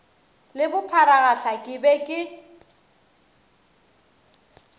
le bopharagahla ke be ke